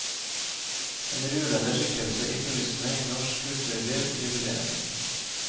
En ruvende skikkelse i kulissene i norsk kulturliv jubilerer.